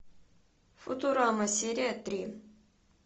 футурама серия три